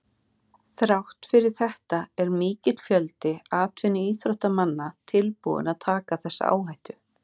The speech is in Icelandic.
Þrátt fyrir þetta er mikill fjöldi atvinnuíþróttamanna tilbúinn að taka þessa áhættu.